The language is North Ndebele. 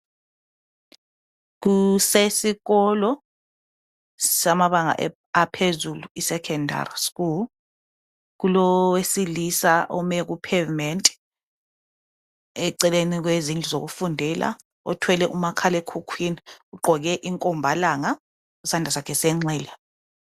kusesikolo samabanga aphezulu esecondary school kulowesilisa ome ku pavement ecelene kwezindlu zokufundela othwele umakhalemkhukhwini ugqoke inkombalanga ngesandla sakhe sengxele.